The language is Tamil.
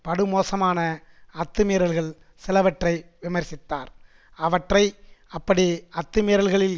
படுமோசமான அத்துமீறல்கள் சிலவற்றை விமர்சித்தார் அவற்றை அப்படி அத்துமீறல்களில்